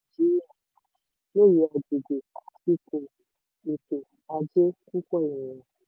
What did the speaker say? lóye owó nàìjíríà: lóye agbègbè ipò ètò ajé púpọ̀ ènìyàn.